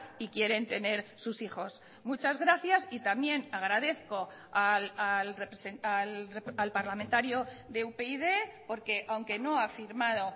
y quieren tener sus hijos muchas gracias y también agradezco al parlamentario de upyd porque aunque no ha firmado